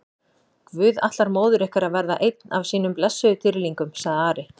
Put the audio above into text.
Guð ætlar móður ykkar að verða einn af sínum blessuðum dýrlingum, sagði Ari.